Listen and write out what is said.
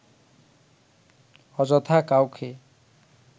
অযথা কাউকে